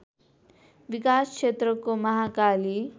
विकास क्षेत्रको महाकाली